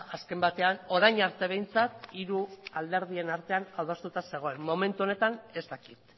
azken batean orain arte behintzat hiru alderdien artean adostuta zegoen momentu honetan ez dakit